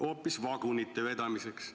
Hoopis "vagunite vedamiseks".